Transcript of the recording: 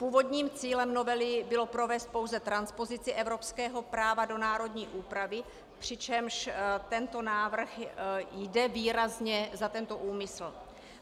Původním cílem novely bylo provést pouze transpozici evropského práva do národní úpravy, přičemž tento návrh jde výrazně za tento úmysl.